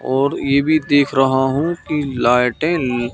और ये भी देख रहा हूं कि लाइटे ल--